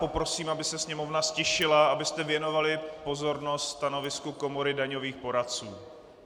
Poprosím, aby se sněmovna ztišila, abyste věnovali pozornost stanovisku Komory daňových poradců.